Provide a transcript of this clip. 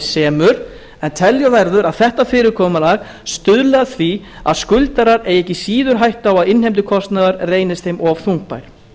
semur en telja verður að þetta fyrirkomulag stuðli að því að skuldarar eigi ekki síður á hættu að innheimtukostnaður reynist þeim of þungbær